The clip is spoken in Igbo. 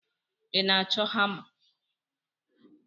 Ị na-achọ hama?